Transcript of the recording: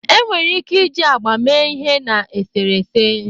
enwere ike iji agba mee ihe na eserese.